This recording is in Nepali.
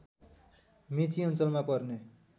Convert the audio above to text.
मेची अञ्चलमा पर्ने